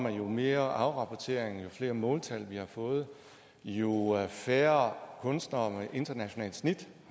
at jo mere afrapportering jo flere måltal vi har fået jo færre kunstnere med internationalt snit